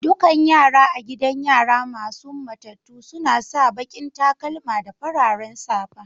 Dukan yaran a gidan yara masun matatu suna sa baki'n takalma da fararen safa.